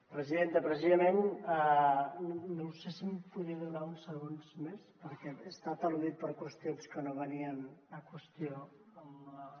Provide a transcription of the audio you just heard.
presidenta precisament no sé si em podria donar uns segons més perquè he estat al·ludit per qüestions que no venien a qüestió amb la